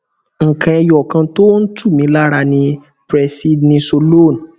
nǹkan ẹyọ kan tó ń tù mí lára ni presidnisolone